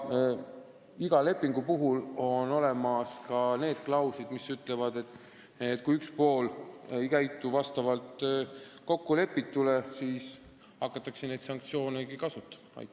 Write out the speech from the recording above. Igas lepingus on ka klauslid, mis ütlevad, et kui üks pool ei käitu vastavalt kokkulepitule, siis hakataksegi neid sanktsioone kasutama.